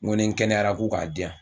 N ko ni kɛnɛyara ko k'a di yan.